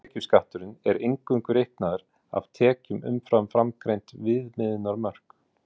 hátekjuskatturinn er eingöngu reiknaður af tekjum umfram framangreind viðmiðunarmörk